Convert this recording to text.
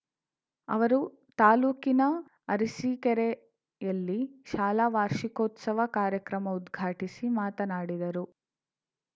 ಅವರು ತಾಲೂಕಿನ ಅರಸಿಕೇರೆಯಲ್ಲಿ ಶಾಲಾ ವಾರ್ಷಿಕೋತ್ಸವ ಕಾರ್ಯಕ್ರಮ ಉದ್ಘಾಟಿಸಿ ಮಾತನಾಡಿದರು